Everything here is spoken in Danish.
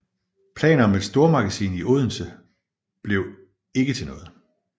Planer om et stormagasin i Odense blev ikke til noget